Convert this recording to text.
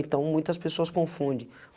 Então muitas pessoas confunde.